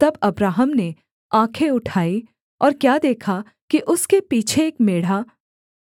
तब अब्राहम ने आँखें उठाई और क्या देखा कि उसके पीछे एक मेढ़ा